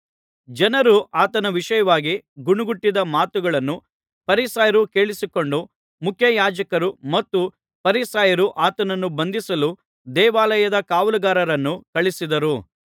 ಜನರು ಆತನ ವಿಷಯವಾಗಿ ಗೊಣಗುಟ್ಟಿದ ಮಾತುಗಳನ್ನು ಫರಿಸಾಯರು ಕೇಳಿಸಿಕೊಂಡು ಮುಖ್ಯಯಾಜಕರೂ ಮತ್ತು ಫರಿಸಾಯರೂ ಆತನನ್ನು ಬಂಧಿಸಲು ದೇವಾಲಯದ ಕಾವಲುಗಾರರನ್ನು ಕಳುಹಿಸಿದರು